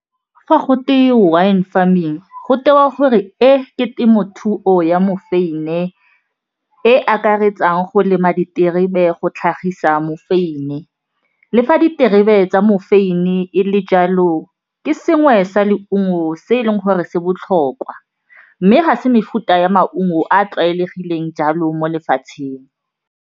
Fa go twe wine farming go tewa gore e ke temothuo ya mofeine e akaretsang go lema diterebe go tlhagisa mofeine, le fa diterebe tsa mofeine le jalo ke sengwe sa leungo se e leng gore se botlhokwa mme ga se mefuta ya maungo a a tlwaelegileng jalo mo lefatsheng.